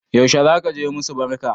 Yaushe zaka je musu barka?